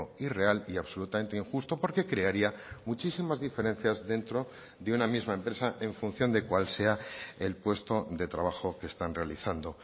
irreal y absolutamente injusto porque crearía muchísimas diferencias dentro de una misma empresa en función de cuál sea el puesto de trabajo que están realizando